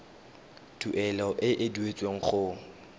tuelo e e duetsweng go